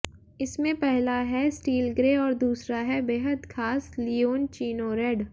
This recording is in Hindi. इसमें पहला है स्टील ग्रे और दूसरा है बेहद खास लिओनचीनो रेड